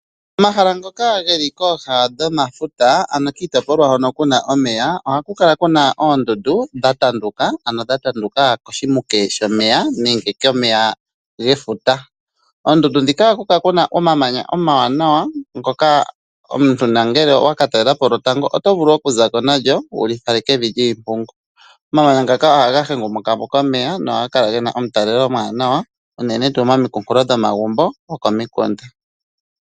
Omahala ngoka geli kooga dhomafuta, anokiitopilwa hono Kuna omeya , oha ku kala Kuna oondundu, dha yanduka, koshimuke shoneya nenge komeya gefuta. Oondundu dhika oha ku kala Kuna omamanya omawana, ngoka omuntu nangele owa ka talelapo lwotanfo oto vulu oku zako nalyo wu li fale kefi lyiimpungu. Omamanya ngoka oha ga hengumukapo komeya, go ogena omutalelo omwaanawa momagumbo gokomilonga.